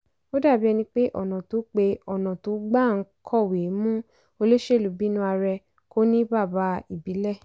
ó dàbí ẹni pé ọ̀nà tó pé ọ̀nà tó gbà ń kọ̀wé mú olóṣèlú bínúarẹ kò ní bàbá ìbílẹ̀.